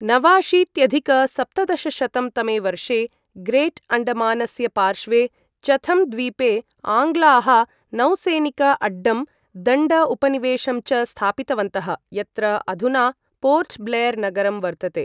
नवाशीत्यधिक सप्तदशशतं तमे वर्षे ग्रेट् अण्डमानस्य पार्श्वे चथम् द्वीपे आङ्ग्लाः नौसैनिक अड्डं, दण्ड उपनिवेशं च स्थापितवन्तः, यत्र अधुना पोर्ट् ब्लेर् नगरं वर्तते ।